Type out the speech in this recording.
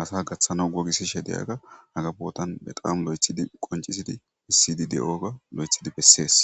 asa gaththana wogisishe deyaga haga bootan be qaam lo7ethidi qoncisidi issidi de7oga lo7ethidi bessees.